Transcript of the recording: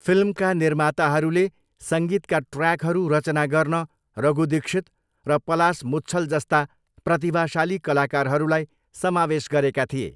फिल्मका निर्माताहरूले सङ्गीतका ट्र्याकहरू रचना गर्न रघु दीक्षित र पलाश मुच्छल जस्ता प्रतिभाशाली कलाकारहरूलाई समावेश गरेका थिए।